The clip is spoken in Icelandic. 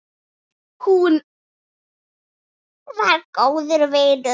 Hún var góður vinur.